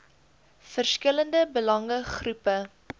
verskillende belange groepe